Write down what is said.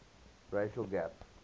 racial gap